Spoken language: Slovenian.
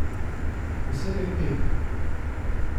Posebej Pepi.